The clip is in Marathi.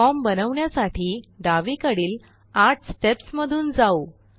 फॉर्म बनवण्यासाठी डावीकडील आठ स्टेप्स मधून जाऊ